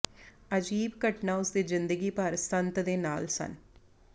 ਅਜੀਬ ਘਟਨਾ ਉਸ ਦੀ ਜ਼ਿੰਦਗੀ ਭਰ ਸੰਤ ਦੇ ਨਾਲ ਸਨ